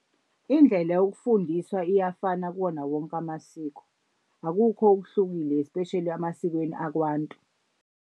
Indlela yokufundiswa iyafana kuwona wonke amasiko, akukho okuhlukile espesheli emasikweni akwantu.